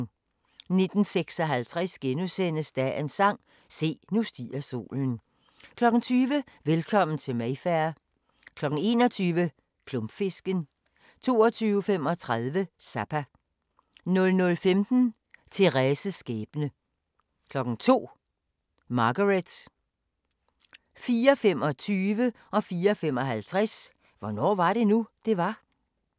19:56: Dagens sang: Se, nu stiger solen * 20:00: Velkommen til Mayfair 21:00: Klumpfisken 22:35: Zappa 00:15: Thérèses skæbne 02:00: Margaret 04:25: Hvornår var det nu, det var? 04:55: Hvornår var det nu, det var?